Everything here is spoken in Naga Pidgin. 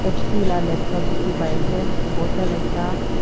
H_P lah laptop dikhi pai ase bottle ekta--